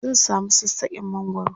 zan samu sassaken mangwaro